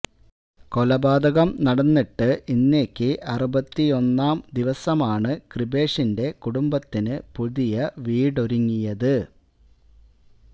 കൊലപാതകം നടന്നിട്ട് ഇന്നേക്ക് അറുപത്തിയൊന്നാം ദിവസമാണ് കൃപേഷിന്റെ കുടുംബത്തിന് പുതിയ വീടൊരുങ്ങിയത്